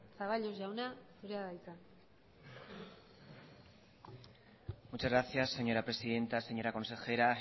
zaballos jauna zurea da hitza muchas gracias señora presidenta señora consejera